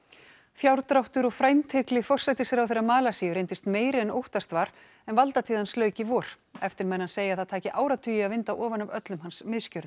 fjárdráttur og frændhygli forsætisráðherra Malasíu reyndist meiri en óttast var en valdatíð hans lauk í vor eftirmenn hans segja að það taki áratugi að vinda ofan af öllum hans misgjörðum